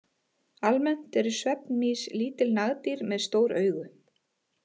Almennt eru svefnmýs lítil nagdýr með stór augu.